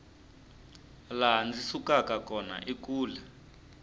laha ndzi sukaka kona i kule